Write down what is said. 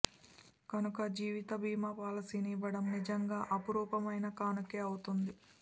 కనుక జీవిత బీమా పాలసీని ఇవ్వడం నిజంగా అపురూపమైన కానుకే అవుతుంది